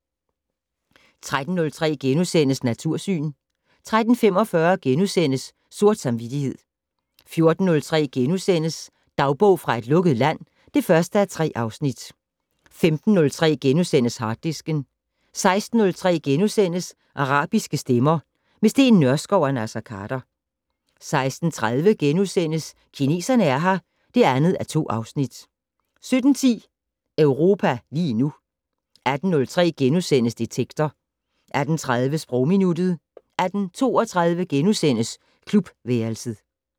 13:03: Natursyn * 13:45: Sort samvittighed * 14:03: Dagbog fra et lukket land (1:3)* 15:03: Harddisken * 16:03: Arabiske stemmer - med Steen Nørskov og Naser Khader * 16:30: Kineserne er her (2:2)* 17:10: Europa lige nu 18:03: Detektor * 18:30: Sprogminuttet 18:32: Klubværelset *